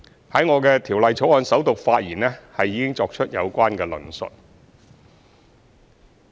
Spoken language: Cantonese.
在我的《條例草案》首讀發言已作出有關的論述。